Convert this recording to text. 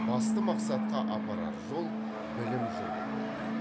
басты мақсатқа апарар жол білім жолы болды